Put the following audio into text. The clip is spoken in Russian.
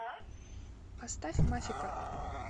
поставь мафика